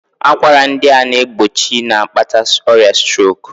Akwara ndị a na-egbochi na-akpata ọrịa strok